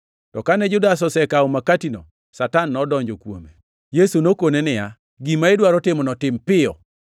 To kane Judas osekawo makatino, Satan nodonjo kuome. Yesu nokone niya, “Gima idwaro timono, tim piyo.”